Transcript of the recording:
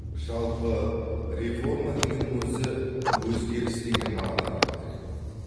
жалпы реформа дегеннің өзі өзгеріс деген мағынаны білдіреді